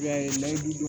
I b'a ye